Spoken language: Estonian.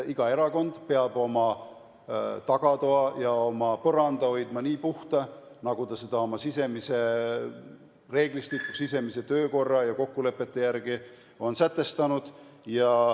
Iga erakond peab oma tagatoa ja oma põranda hoidma nii puhta, nagu ta oma sisemise reeglistiku, sisemise töökorra ja kokkulepete järgi on sätestanud.